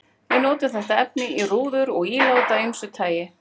Við notum þetta efni í rúður og ílát af ýmsu tagi.